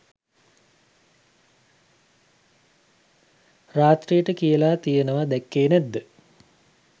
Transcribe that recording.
රාත්‍රියට කියලා තියෙනවා දැක්කේ නැද්ද?